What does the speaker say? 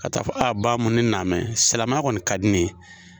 Ka taa fɔ Bahumu ne na n bɛ silamɛya kɔni ka di ne ye